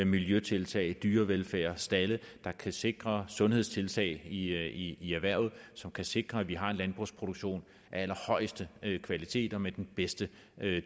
miljøtiltag dyrevelfærd og stalde der kan sikre sundhedstiltag i i erhvervet og som kan sikre at vi har en landbrugsproduktion af allerhøjeste kvalitet og med den bedste